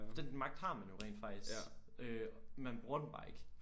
For den magt har man jo rent faktisk øh man bruger den bare ikke